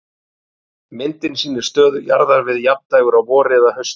Myndin sýnir stöðu jarðar við jafndægur á vori eða hausti.